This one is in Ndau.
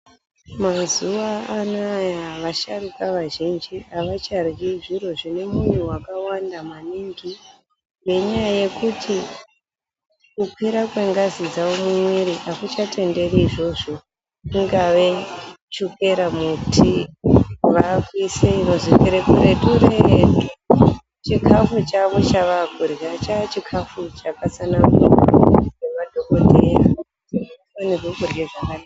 Mazuva anawa vasharukwa vazhinji avacharwi zviro zvine munyu wakawanda maningi ngenyaya yekuti kukwira kwengazi dzawo mumwiri akuchatenderi izvozvo ingava chukera mutii vakuisa inonzwika kure kuretu chikafu Chavo chavakurya chachikafu chakat sanangurwa nemadhokodheya kuti avafanirwi kurya zvakati.